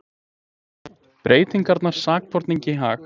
Breytingarnar sakborningi í hag